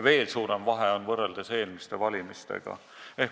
Veel suurem vahe on võrreldes eelmiste valimistega.